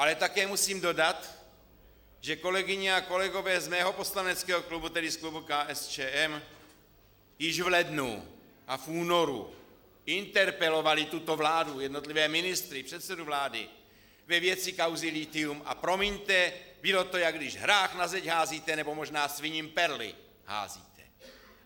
Ale také musím dodat, že kolegyně a kolegové z mého poslaneckého klubu, tedy z klubu KSČM, již v lednu a v únoru interpelovali tuto vládu, jednotlivé ministry, předsedu vlády ve věci kauzy lithium, a promiňte, bylo to, jako když hrách na zeď házíte, nebo možná sviním perly házíte!